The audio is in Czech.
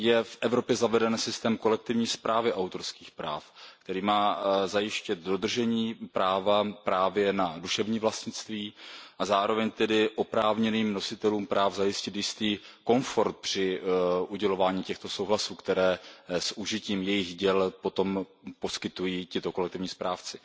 V Evropě je zaveden systém kolektivní správy autorských práv, který má zajistit dodržení práva na duševní vlastnictví a zároveň tedy oprávněným nositelům práv zajistit jistý komfort při udělování těchto souhlasů s užitím jejich děl, které potom poskytují tito kolektivní správci.